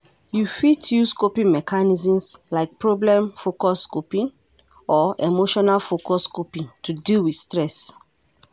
You fit use coping mechanisms like problem-focused coping or emotion-focused coping to deal with stress.